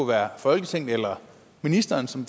være folketinget eller ministeren som